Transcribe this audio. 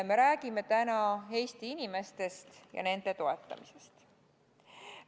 Me räägime täna Eesti inimestest ja nende toetamisest.